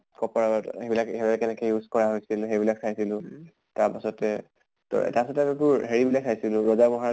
copper ত সেইবিলাক হিহঁতে কেনেকে use কৰা হৈছিলে সেই বিলাক চাইছিলো। তাৰ পাছতে তোৰ তাছত আৰু তোৰ হেৰি বিলাক চাইছিলো ৰজা মহাৰজা